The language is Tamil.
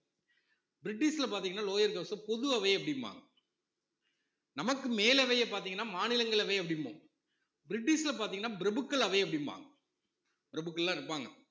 பிரிட்டிஷ்ல பாத்தீங்கன்னா lower house அ பொது அவை அப்படிம்பாங்க நமக்கு மேலவையை பாத்தீங்கன்னா மாநிலங்களவை அப்படிம்போம் பிரிட்டிஷ்ல பாத்தீங்கன்னா பிரபுக்கள் அவை அப்படிம்பாங்க பிரபுக்கள் எல்லாம் இருப்பாங்க